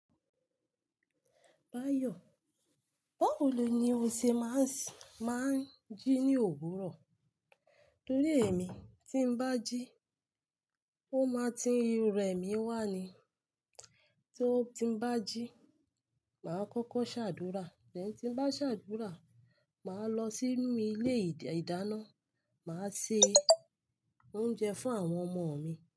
Báyò, báwo lo ni o ṣe máa ń, máa ń jí ní òwúrọ̀? Torí èmi tí ń bá jí, ó máa ti rẹ̀ mí wà ni. Tó ti ń bá jí, màá kókó ṣàdúrà. Lẹ́yìn tí ń bá ṣàdúrà, màá lọ sínú ilé ìdáná, màá se oúnjẹ fún àwọn ọmọ mi.